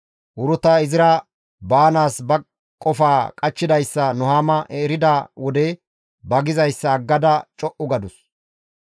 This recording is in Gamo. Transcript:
Uruta izira baanaas ba qofaa qachchidayssa Nuhaama erida wode ba gizayssa aggada co7u gadus.